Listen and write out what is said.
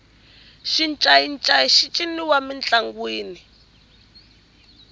xincayincayi xi ciniwa mintlangwini